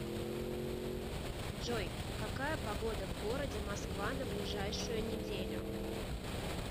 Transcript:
джой какая погода в городе москва на ближайшую неделю